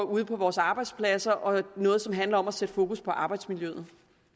på vores arbejdspladser og er noget som handler om at sætte fokus på arbejdsmiljøet